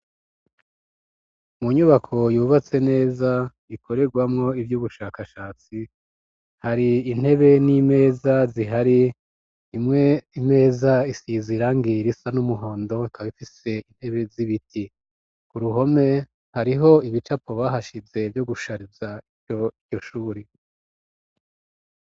Mu nyubako yubatse neza ikorerwamo ivy'ubushakashatsi, hari intebe n'imeza zihari, imwe imeza isize irangi risa n'umuhondo ikaba ifise intebe z'ibiti. Ku ruhome hariho ibicapo bahashize vyo gushariza iryo shure.